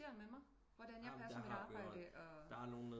Med mig hvordan jeg passer mit arbejde